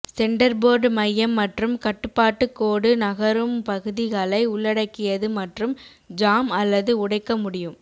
centreboard மையம் மற்றும் கட்டுப்பாட்டு கோடு நகரும் பகுதிகளை உள்ளடக்கியது மற்றும் ஜாம் அல்லது உடைக்க முடியும்